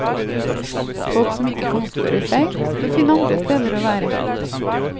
Folk som ikke kan oppføre seg, får finne andre steder å være.